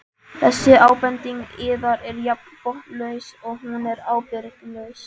Þessi ábending yðar er jafn botnlaus og hún er ábyrgðarlaus.